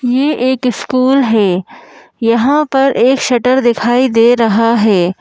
ये एक स्कूल है यहाँ पर एक शटर दिखाई दे रहा है।